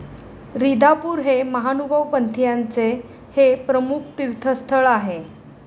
रीधापूर हे महानुभव पंथीयांचे हे प्रमुख तीर्थस्थळ आहे.